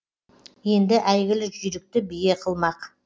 енді әйгілі жүйрікті бие қылмақ